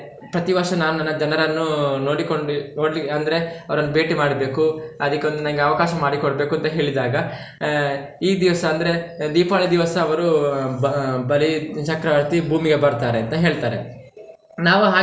ಪ್ರತಿ ವರ್ಷ ನಾನು ನನ್ನ ಜನರನ್ನು ನೋಡಿಕೊಂಡು ನೋಡ್ಲಿಕ್ಕೆ ಅಂದ್ರೆ ಅವರನ್ನು ಭೇಟಿ ಮಾಡ್ಬೇಕು ಅದಿಕ್ಕೊಂದು ನಂಗೆ ಅವಕಾಶ ಮಾಡಿಕೊಡ್ಬೇಕು ಅಂತ ಹೇಳಿದಾಗ, ಆಹ್ ಈ ದಿವ್ಸ ಅಂದ್ರೆ ದೀಪಾವಳಿ ದಿವ್ಸ ಅವ್ರು ಬ~ ಬಲಿಚಕ್ರವರ್ತಿ ಭೂಮಿಗೆ ಬರ್ತಾರೆ ಅಂತ ಹೇಳ್ತಾರೆ, ನಾವು.